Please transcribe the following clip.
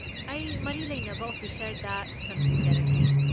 ꯑꯩ ꯃꯔꯤ ꯂꯩꯅꯕ ꯑꯣꯐꯤꯁꯔꯗ ꯁꯝꯖꯤꯟꯖꯔꯛꯀꯦ꯫